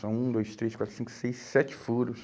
São um, dois, três, quatro, cinco, seis, sete furos.